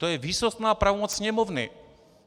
To je výsostná pravomoc Sněmovny.